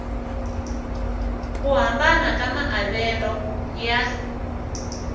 ku hambana ka maavelo ya